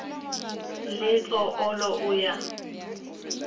le tso olo o ya